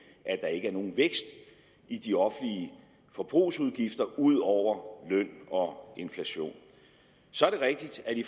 at der ikke er nogen vækst i de offentlige forbrugsudgifter ud over løn og inflation så er det rigtigt at i